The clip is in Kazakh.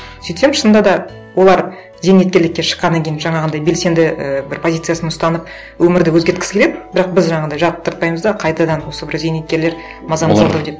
сөйтсем шынында да олар зейнеткерлікке шыққаннан кейін жаңағындай белсенді ііі бір позициясын ұстанып өмірді өзгерткісі келеді бірақ біз жаңағындай жақтыртпаймыз да қайтадан осы бір зейнеткерлер мазамызды алды ау деп